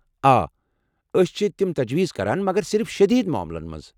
آ، أسۍ چِھ تِم تجویز كران، مگر صرف شدید معاملن منٛز۔